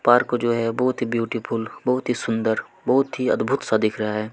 Park जो है बहुत ही ब्यूटीफुल बहुत ही सुंदर बहुत ही अद्भुत सा दिख रहा है।